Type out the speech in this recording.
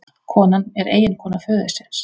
Konan er eiginkona föðursins